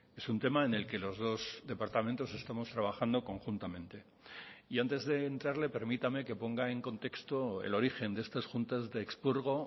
es un tema en el que los dos departamentos estamos trabajando conjuntamente y antes de entrarle permítame que ponga en contexto el origen de estas juntas de expurgo